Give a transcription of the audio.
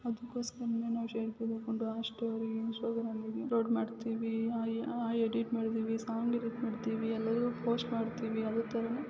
ಅದ್ಕುಸ್ಕರ ನಾವು ಸೆಲ್ಫಿ ತಕಂಡು story upload ಮಾಡ್ತಿವೆ ಎಡಿಟ್ ಮಾಡ್ತಿವೆ ಸಾಂಗ್ ಎಡಿಟ್ ಪೋಸ್ಟ್ ಎಡಿಟ್ ಮಾಡ್ತೀವಿ ಯಲ್ಲವೋ ಪೋಸ್ಟ್ ಮಾಡ್ತೀವಿ ಅದು ತರಾನೆ--